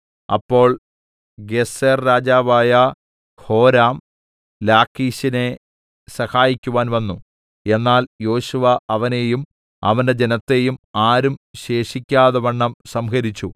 അപ്പോൾ ഗേസെർരാജാവായ ഹോരാം ലാഖീശിനെ സഹായിക്കുവാൻ വന്നു എന്നാൽ യോശുവ അവനെയും അവന്റെ ജനത്തെയും ആരും ശേഷിക്കാതവണ്ണം സംഹരിച്ചു